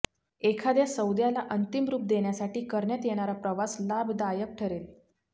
एखाद्या सौद्याला अंतिम रूप देण्यासाठी करण्यात येणारा प्रवास लाभदायक ठरेल